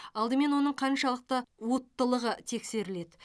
алдымен оның қаншалықты уыттылығы тексеріледі